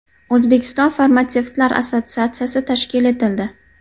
O‘zbekiston farmatsevtlar assotsiatsiyasi tashkil etildi.